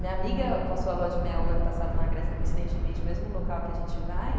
Minha amiga passou a lua de mel ano passado na Grécia, coincidentemente, mesmo local que a gente vai.